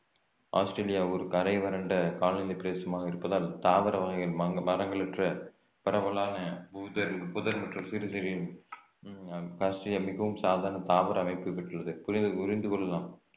Australia ஒரு கரை வறண்ட காலநிலை பிரதேசமாக இருப்பதால் தாவர வகைகள் மங்~ மரங்களற்ற பரவலான புதர் புதர் மற்றும் சிறு சிறு ஆஸ்திரேலியா மிகவும் சாதாரண தாவர அமைப்பு பெற்றுள்ளது புரிதல் புரிந்து கொள்ளலாம்